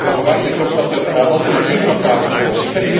Maar dan verwacht je toch dat er alternatieven op tafel komen.